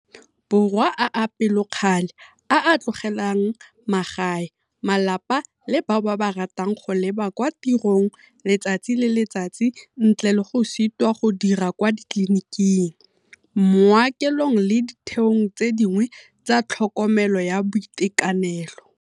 Borwa a a pelokgale, a a tlogelang magae, malapa le bao ba ba ratang go leba kwa tirong letsatsi le letsatsi ntle le go sitwa go dira kwa ditleliniking, maokelong le ditheong tse dingwe tsa tlhokomelo ya boitekanelo.